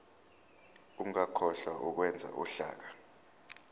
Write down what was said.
ungakhohlwa ukwenza uhlaka